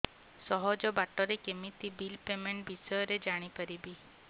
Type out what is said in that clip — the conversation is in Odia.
ସହଜ ବାଟ ରେ କେମିତି ବିଲ୍ ପେମେଣ୍ଟ ବିଷୟ ରେ ଜାଣି ପାରିବି